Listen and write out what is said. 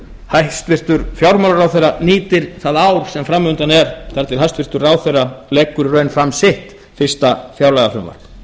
hæstvirtur fjármálaráðherra nýtir það ár sem fram undan er þar til hæstvirts ráðherra leggur í raun fram sitt fyrsta fjárlagafrumvarp